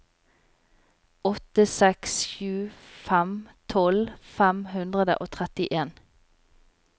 åtte seks sju fem tolv fem hundre og trettien